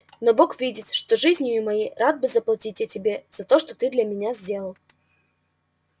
но бог видит что жизнию моей рад бы заплатить я тебе за то что ты для меня сделал